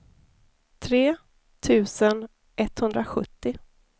tre tusen etthundrasjuttio